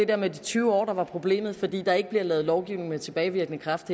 der med de tyve år der var problemet fordi der her ikke bliver lavet lovgivning med tilbagevirkende kraft